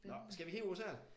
Nå skal vi kigge på sådan en?